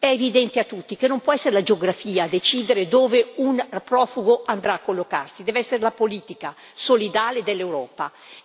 È evidente a tutti che non può essere la geografia a decidere dove un profugo andrà a collocarsi, deve essere la politica solidale dell'Europa.